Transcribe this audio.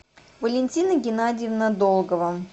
валентина геннадьевна долгова